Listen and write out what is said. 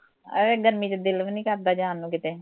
ਏਹੋ ਜਹੀ ਗਰਮੀ ਚ ਦਿਲ ਵੀ ਨੀ ਕਰਦਾ ਜਾਣ ਨੂੰ ਕਿਤੇ